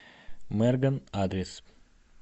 мэргэн адрес